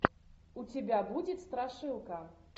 у тебя будет страшилка